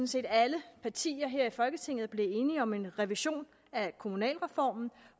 set alle partier her i folketinget er blevet enige om en revision af kommunalreformen